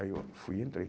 Aí eu fui e entrei.